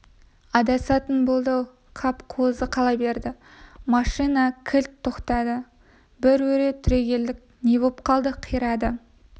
адасатын болды-ау қап қозы қала берді машина кілт тоқтады бір өре түрегелдік не боп қалды қирады